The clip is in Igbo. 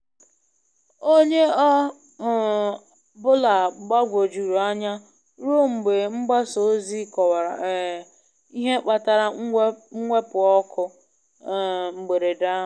Onye ọ um bụla gbagwojuru anya ruo mgbe mgbasa ozi kọwara um ihe kpatara mwepu ọkụ um mberede ahụ.